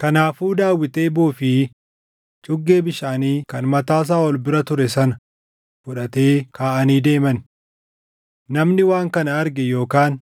Kanaafuu Daawit eeboo fi cuggee bishaanii kan mataa Saaʼol bira ture sana fudhatee kaʼanii deeman. Namni waan kana arge yookaan